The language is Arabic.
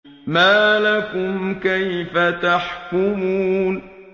مَا لَكُمْ كَيْفَ تَحْكُمُونَ